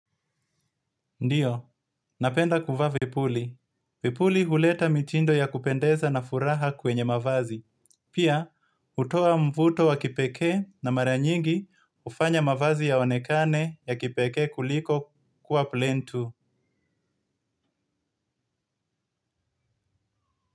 Ndiyo napenda kuvaa vipuli. Vipuli huleta mitindo ya kupendeza na furaha kwenye mavazi. Pia, utoa mvuto wa kipeke na maranyingi ufanya mavazi yaonekane ya kipeke kuliko kuwa plain tu.